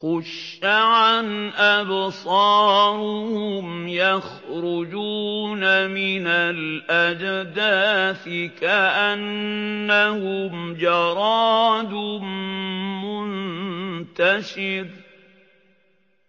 خُشَّعًا أَبْصَارُهُمْ يَخْرُجُونَ مِنَ الْأَجْدَاثِ كَأَنَّهُمْ جَرَادٌ مُّنتَشِرٌ